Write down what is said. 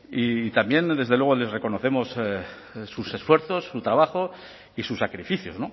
y también desde luego les reconocemos sus esfuerzos su trabajo y sus sacrificios